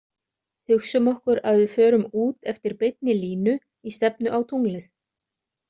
Hugsum okkur að við förum út eftir beinni línu í stefnu á tunglið.